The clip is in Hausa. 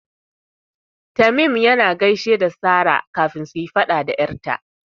Tamim yana gaishe da Sara kafin suyi faɗa da 'yar ta.